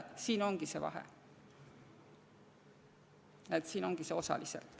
Siin ongi see vahe, siin ongi see "osaliselt".